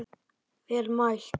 Vel mælt.